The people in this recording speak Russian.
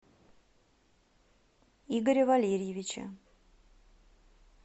игоря валерьевича